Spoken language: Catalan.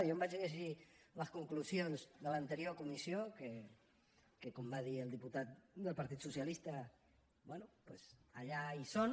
jo em vaig llegir les conclusions de l’anterior comissió que com va dir el diputat del partit socialista bé doncs allà hi són